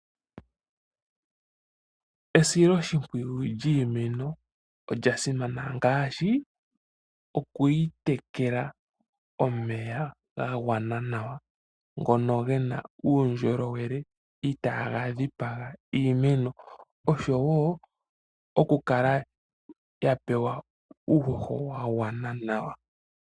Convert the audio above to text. Esiloshimpwiyu lyiimeno olya simana ngaashi okuyi tekela omeya gagwana ngono gena uundjolowele itaga dhipaga iimeno oshowo oku kala ya pewa uuhoho wagwana nawa.